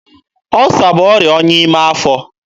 Ọsa bụ ọrịa ọnya n'ime afọ.